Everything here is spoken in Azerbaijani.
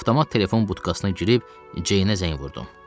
avtomat telefon butkasına girib Ceynə zəng vurdum.